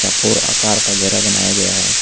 और आकार वगैरा बनाया गया है।